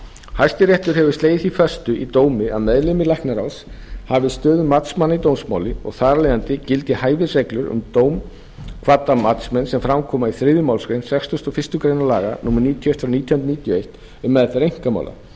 hæstiréttur hefur þá slegið því föstu í dómi að meðlimir læknaráðs hafi stöðu matsmanna í dómsmáli og þar af leiðandi gildi hæfisreglur um dómkvadda matsmenn sem fram koma í þriðju málsgrein sextugustu og fyrstu grein laga númer níutíu og eitt nítján hundruð níutíu og eitt um meðferð einkamála